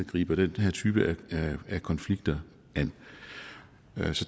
griber den her type af konflikter an